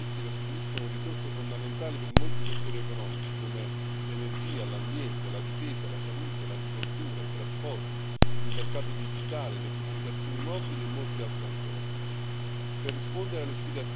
i programmi spaziali e i relativi servizi costituiscono risorse fondamentali per molti settori economici come l'energia, l'ambiente, la difesa, la salute, l'agricoltura, i trasporti, il mercato digitale, le comunicazioni mobili e molti altri ancora.